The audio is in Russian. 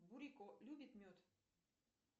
бурико любит мед